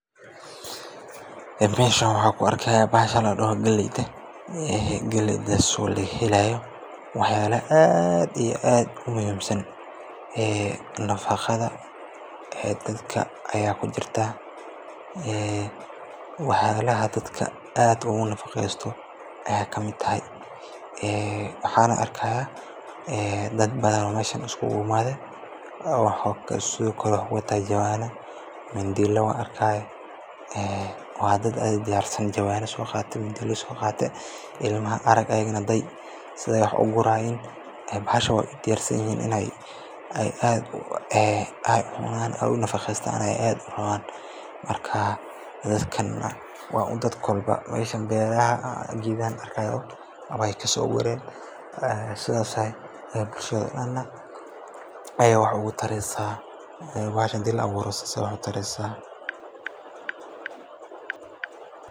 Meeshan waxaan ku arkaa bahasha la dhaho galleyda, galleydaas oo laga helaayo waxyaalo aad iyo aad u muhiim ah oo dhanka nafaqada ah. Waa mid ka mid ah cuntooyinka ugu muhiimsan ee dadka ay si joogto ah u cunaan, waxayna leedahay nafaqooyin badan sida fiitamiinno, borotiin iyo tamar jirka u fiican. Galleyda waxaa laga sameeyaa cuntooyin kala duwan sida canjeero, suugo iyo rooti, waxayna door weyn ka qaadataa caafimaadka qofka. Waa mid ka mid ah waxyaabaha beeraleydu si gaar ah u beertaan maadaama ay faa’iido badan u leedahay bulshada inteeda badan.